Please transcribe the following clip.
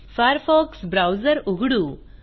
Firefox browser उघडू